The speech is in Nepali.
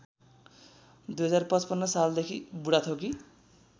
२०५५ सालदेखि बुढाथोकी